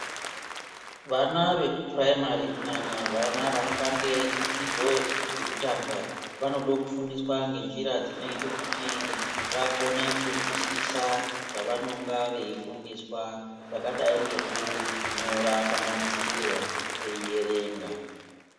Vana vekupurayimari kunyanya vana vanotange dzidzo yekutanga, vanoda kufundiswa ngenjira dzinoyita kuti vakone kuzwisisa zvavanonga veyifundiswa, zvakadayi ngekunyora pamadziro, veyierenga.